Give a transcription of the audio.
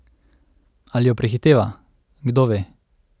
Ali jo prehiteva, kdo ve?